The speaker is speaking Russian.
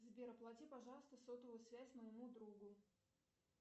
сбер оплати пожалуйста сотовую связь моему другу